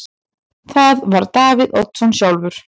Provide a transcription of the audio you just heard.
Það var Davíð Oddsson sjálfur.